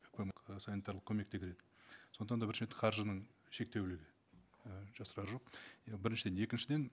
көмек і санитарлық көмек те керек сондықтан да бірінші енді қаржының шектеулігі і жасырары жоқ иә біріншіден екіншіден